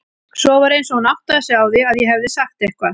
Svo var eins og hún áttaði sig á því að ég hefði sagt eitthvað.